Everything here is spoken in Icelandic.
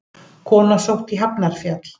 Kona sótt á Hafnarfjall